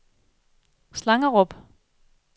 Slangerup